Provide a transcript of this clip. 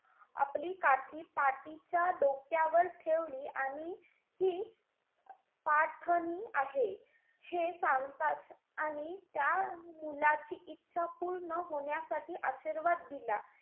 आपली काठी पाटीच्या डोक्यावर ठेवली आणि हि पाठणी आहे हे सांगताच आणि त्या मुलाची इच्छा पूर्ण होण्यासाठी आशीर्वाद दिला.